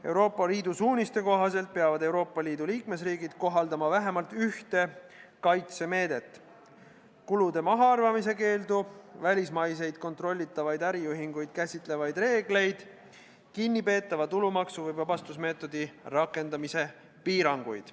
Euroopa Liidu suuniste kohaselt peavad Euroopa Liidu liikmesriigid kohaldama vähemalt ühte järgmistest kaitsemeetmetest: kulude mahaarvamise keeld, välismaiseid kontrollitavaid äriühinguid käsitlevad reeglid, kinnipeetava tulumaksu või vabastusmeetodi rakendamise piirangud.